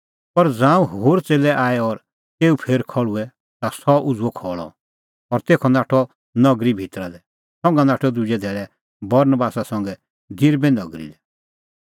पर ज़ांऊं होर च़ेल्लै आऐ और तेऊ फेर खल़्हुऐ ता सह उझ़ुअ खल़अ और तेखअ नाठअ नगरी भितरा लै संघा नाठअ दुजै धैल़ै बरनबासा संघै दिरबे नगरी लै